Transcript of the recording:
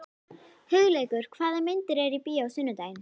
Hugleikur, hvaða myndir eru í bíó á sunnudaginn?